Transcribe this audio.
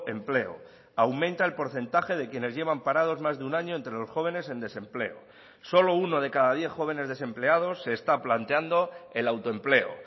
empleo aumenta el porcentaje de quienes llevan parados más de un año entre los jóvenes en desempleo solo uno de cada diez jóvenes desempleados se está planteando el autoempleo